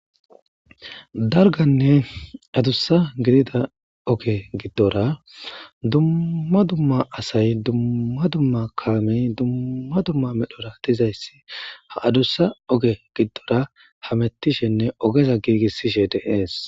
dalganne adussa gidida oge giddora dumma dumma asay dumma dumma kaamey dumma dumma medhora dizayssi ha adussa oge giddora hamettishenne ogeza giigissishe dee'es